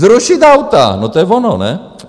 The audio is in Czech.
Zrušit auta, no to je ono, ne?